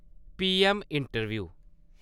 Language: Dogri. PM interview